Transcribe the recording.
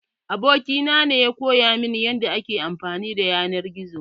Abokina ne ya koya min yanda ake amfani da yanar gizo.